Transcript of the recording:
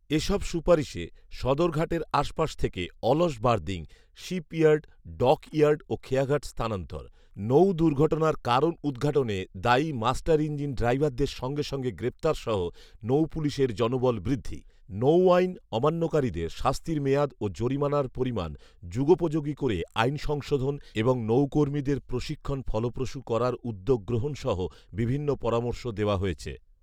এসব সুপারিশে সদরঘাটের আশপাশ থেকে অলস বার্দিং, শিপইয়ার্ড, ডকইয়ার্ড ও খেয়াঘাট স্থানান্তর; নৌদুর্ঘটনার কারণ উদঘাটনে দায়ী মাস্টারইঞ্জিন ড্রাইভারদের সঙ্গে সঙ্গে গ্রেপ্তারসহ নৌপুলিশের জনবল বৃদ্ধি; নৌআইন অমান্যকারীদের শাস্তির মেয়াদ ও জরিমানার পরিমাণ যুগপোযোগী করে আইন সংশোধন এবং নৌকর্মীদের প্রশিক্ষণ ফলপ্রসূ করার উদ্যোগ গ্রহণসহ বিভিন্ন পরামর্শ দেওয়া হয়েছে